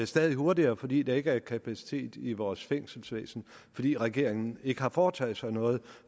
stadig hurtigere fordi der ikke er kapacitet i vores fængselsvæsen fordi regeringen ikke har foretaget sig noget